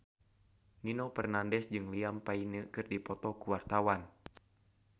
Nino Fernandez jeung Liam Payne keur dipoto ku wartawan